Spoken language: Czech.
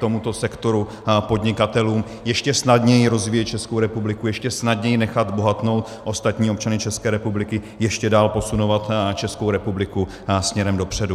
tomuto sektoru podnikatelů ještě snadněji rozvíjet Českou republiku, ještě snadněji nechat bohatnout ostatní občany České republiky, ještě dál posunovat Českou republiku směrem dopředu.